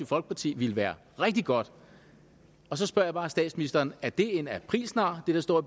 folkeparti jo ville være rigtig godt og så spørger jeg bare statsministeren er det en aprilsnar det der står